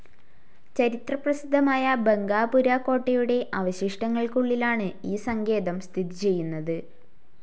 ചരിത്രപ്രസിദ്ധമായ ബംഗാപുര കോട്ടയുടെ അവശിഷ്ടങ്ങൾക്കുള്ളിലാണ് ഈ സങ്കേതം സ്ഥിതിചെയ്യുന്നത്.